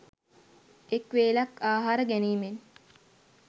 එක් වේලක් ආහාර ගැනීමෙන්